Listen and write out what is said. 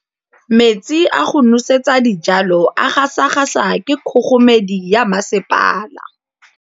Metsi a go nosetsa dijalo a gasa gasa ke kgogomedi ya masepala.